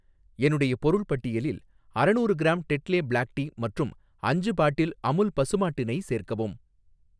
என்னுடைய பொருள் பட்டியலில் அரநூறு க்ராம் டெட்லே பிளாக் டீ மற்றும் அஞ்சு பாட்டில் அமுல் பசுமாட்டு நெய் சேர்க்கவும்.